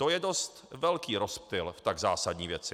To je dost velký rozptyl v tak zásadní věci.